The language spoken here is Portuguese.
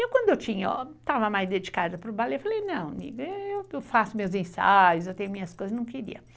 Eu quando eu tinha, estava mais dedicada para o ballet, eu falei, não, eu faço meus ensaios, eu tenho minhas coisas, não queria.